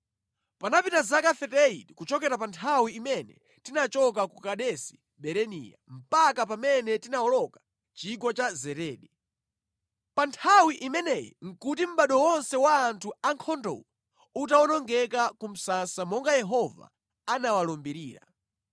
Panapita zaka 38 kuchokera pa nthawi imene tinachoka ku Kadesi Barinea mpaka pamene tinawoloka Chigwa cha Zeredi. Pa nthawi imeneyi nʼkuti mʼbado wonse wa anthu ankhondowo utawonongeka ku msasa monga Yehova anawalumbirira.